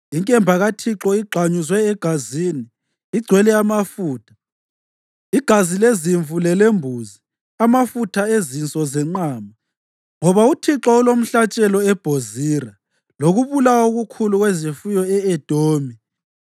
Inkemba kaThixo igxanyuzwe egazini, igcwele amafutha igazi lezimvu lelembuzi, amafutha ezinso zenqama. Ngoba uThixo ulomhlatshelo eBhozira lokubulawa okukhulu kwezifuyo e-Edomi.